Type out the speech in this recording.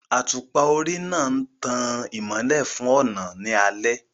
Àtùpà orí náà ń tan ìmọ́lẹ̀ fún ọ̀nà ní alẹ́